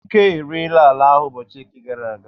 Ike ereela ala ahụ ụbọchị Eke gara aga.